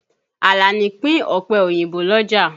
Àlàní pín ọ̀pẹ òyìnbó l'ọ́jà.